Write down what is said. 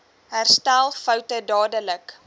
herstel foute dadelik